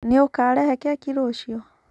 Nĩ ũkarehe keki rũciũ